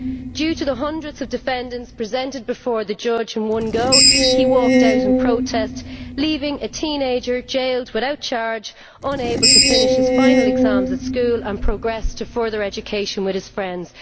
Due to the hundreds of defendants presented before the judge in one go, he walked out in protest, leaving a teenager jailed without charge, unable to finish his final exams at school and progress to further education with his friends.